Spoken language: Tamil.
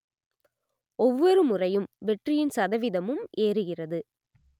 ஒவ்வொருமுறையும் வெற்றியின் சதவீதமும் ஏறுகிறது